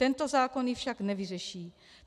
Tento zákon ji však nevyřeší.